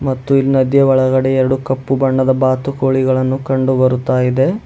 ಮತ್ತು ಈ ನದಿಯ ಒಳಗಡೆ ಎರಡು ಕಪ್ಪು ಬಣ್ಣದ ಬಾತುಕೋಳಿಗಳನ್ನು ಕಂಡು ಬರುತಾ ಇದೆ.